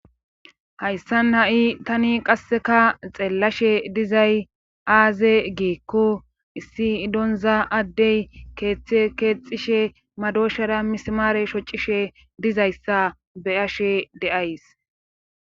hayssan ha7i tani qasseka xeellashe dizay aaze geekko issi idonza addey keeththe keexxishe madooshara mismaare shocishe dizayssa beyashe deays